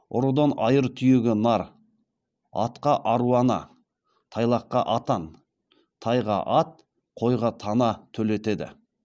ұрыдан айыр түйеге нар атқа аруана тайлаққа атан тайға ат қойға тана төлетеді